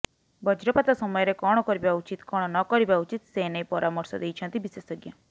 ବଜ୍ରପାତ ସମୟରେ କଣ କରିବା ଉଚିତ୍ କଣ ନକରିବା ଉଚିତ୍ ସେନେଇ ପ୍ରରାମର୍ଶ ଦେଇଛନ୍ତି ବିଶେଷଜ୍ଞ